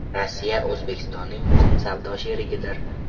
Rossiya O‘zbekistonning muhim savdo sherigidir.